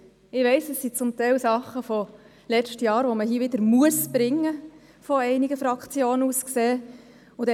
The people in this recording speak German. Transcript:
Ich weiss, dass es zum Teil Dinge vom letzten Jahr sind, die man aus Sicht einiger Fraktionen wieder bringen muss.